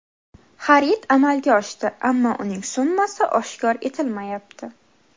Xarid amalga oshdi, ammo uning summasi oshkor etilmayapti.